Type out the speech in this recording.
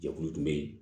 Jɛkulu tun bɛ yen